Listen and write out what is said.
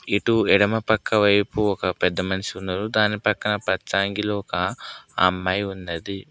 ఇటు ఎడమ పక్క వైపు ఒక పెద్ద మనిషి ఉండదు దాని పక్కన పచ్చ అంగీలో ఒక అమ్మాయి ఉన్నది.